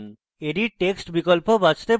edit text বিকল্প বাছতে পারেন